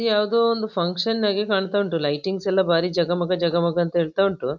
ಯಾವ್ದೋ ಒಂದು ಫಂಕ್ಷನ್ ಹಾಗೆ ಕಾಣ್ತಾ ಉಂಟು ಲೈಟಿಂಗ್ಸ್ ಎಲ್ಲ ಜಗಮಗ ಜಗಮಗ ಅಂತ ಹೇಳ್ತಾ ಉಂಟು.